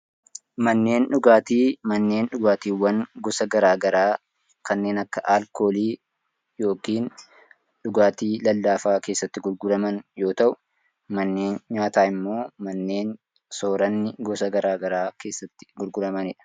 Manneen dhugaatii: Manneen dhugaatii gosa gara garaa kanneen akka alkoolii yookaan dhugaatii lallaafaa keessatti gurguraman yoo ta’u, manneen nyaata immoo manneen sooranni gara garaa keessatti gurguramanidha.